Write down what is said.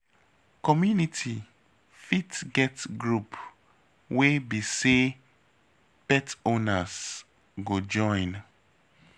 Community fit get group wey be sey pet owners go join